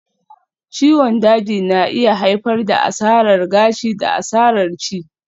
Ciwon daji na iya haifar da asarar gashi da asarar ci